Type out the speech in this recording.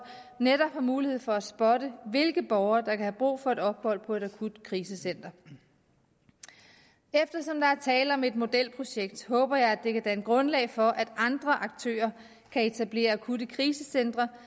netop har mulighed for at spotte hvilke borgere der kan have brug for et ophold på et akutkrisecenter eftersom der er tale om et modelprojekt håber jeg det kan danne grundlag for at andre aktører kan etablere akutkrisecentre